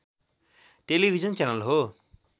television channel हो